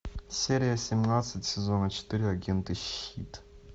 серия семнадцать сезона четыре агенты щит